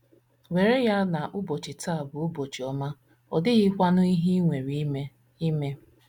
WERE ya na ụbọchị taa bụ ụbọchị ọma, ọ dịghịkwanụ ihe i nwere ime. ime.